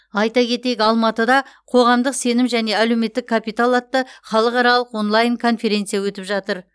айта кетейік алматыда қоғамдық сенім және әлеуметтік капитал атты халықаралық онлайн конференция өтіп жатыр